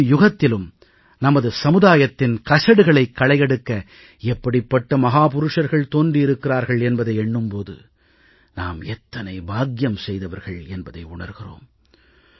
ஒவ்வொரு யுகத்திலும் நமது சமுதாயத்தின் கசடுகளைக் களையெடுக்க எப்படிப்பட்ட மகாபுருஷர்கள் தோன்றியிருக்கிறார்கள் என்பதை எண்ணும் போது நாம் எத்தனை பாக்கியம் செய்தவர்கள் என்பதை உணர்கிறோம்